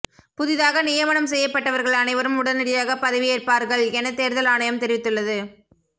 புதிதாக நியமனம் செய்யப்பட்டவர்கள் அனைவரும் உடனடியாக பதவியேற்பார்கள் என தேர்தல் ஆணையம் தெரிவித்துள்ளது